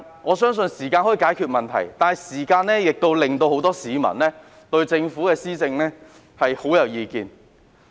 我相信時間可以解決問題，但時間亦導致很多市民對政府施政很有意見。